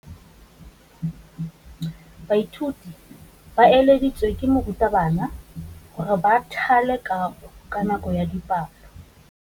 Baithuti ba laeditswe ke morutabana gore ba thale kagô ka nako ya dipalô.